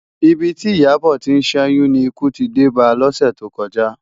Ibi ti Iyabo ti n ṣèyún ni ikú ti dé bá lòsè tókòjá